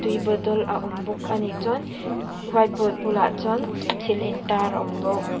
tui bottle a awm bawk a ni chuan white board bulah chuan thil intar a awm bawk.